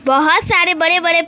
बहोत सारे बड़े बड़े पे--